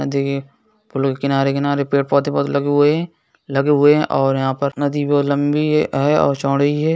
देखिये फूलों के किनारे किनारे पेड़ पौधे बहुत लगे हुए हैं लगे हुए हैं और यहाँ पर नदी भी बहुत लंबी है और चौड़ी है।